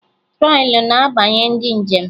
Trọlị na-agbanye ndị njem